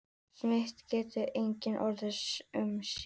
Smit getur einnig orðið um sár.